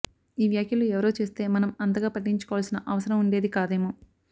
ఈ వ్యాఖ్యలు ఎవరో చేస్తే మనం అంతగా పట్టించుకోవాల్సిన అవసరం ఉండేది కాదేమో